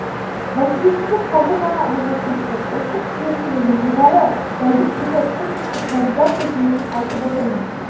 нәтижесін тек қазір ғана алуға кірістік ұлттық жүйесін және жоғары дәлдіктегі спутниктік навигация жүйесін айтып отырмын